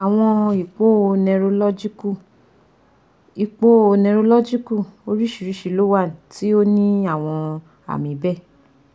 Awọn ipo neurological ipo neurological oriṣiriṣi lo wa ti o ni awọn aami bẹẹ